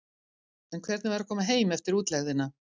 En hvernig var að koma heim eftir útlegðina?